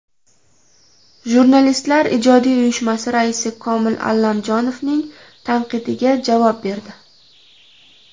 Jurnalistlar ijodiy uyushmasi raisi Komil Allamjonovning tanqidiga javob berdi.